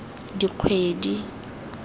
dikgwedi